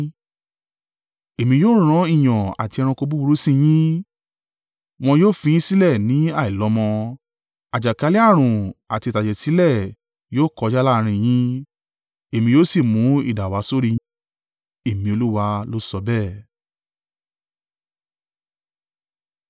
Èmi yóò rán ìyàn àti ẹranko búburú sí i yín, wọn yóò fi yín sílẹ̀ ni àìlọ́mọ. Àjàkálẹ̀-ààrùn àti ìtàjẹ̀ sílẹ̀ yóò kọjá láàrín yín. Èmi yóò si mú idà wá sórí rẹ. Èmi Olúwa ló sọ bẹ́ẹ̀.”